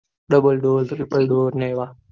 doubledoortrippledoor ને એવા